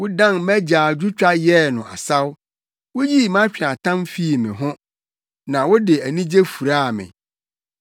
Wodan mʼagyaadwotwa yɛɛ no asaw; wuyii mʼatweaatam fii me ho na wode anigye furaa me,